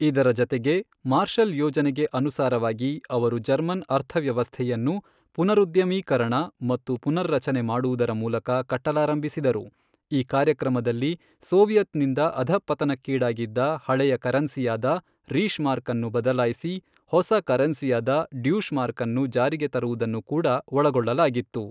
ಇದರ ಜತೆಗೇ ಮಾರ್ಷಲ್ ಯೋಜನೆಗೆ ಅನುಸಾರವಾಗಿ ಅವರು ಜರ್ಮನ್ ಅರ್ಥವ್ಯವಸ್ಥೆಯನ್ನು ಪುನರುದ್ಯಮೀಕರಣ ಮತ್ತು ಪುನರ್ರಚನೆ ಮಾಡುವುದರ ಮೂಲಕ ಕಟ್ಟಲಾರಂಭಿಸಿದರು ಈ ಕಾರ್ಯಕ್ರಮದಲ್ಲಿ ಸೋವಿಯೆತ್ ನಿಂದ ಅಧಃಪತನಕ್ಕೀಡಾಗಿದ್ದ ಹಳೆಯ ಕರೆನ್ಸಿಯಾದ ರೀಶ್ ಮಾರ್ಕ್ ಅನ್ನು ಬದಲಾಯಿಸಿ ಹೊಸ ಕರೆನ್ಸಿಯಾದ ಡ್ಯೂಶ್ ಮಾರ್ಕ್ ಅನ್ನು ಜಾರಿಗೆ ತರುವುದನ್ನು ಕೂಡ ಒಳಗೊಳ್ಳಲಾಗಿತ್ತು.